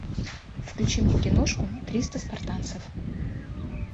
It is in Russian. включи мне киношку триста спартанцев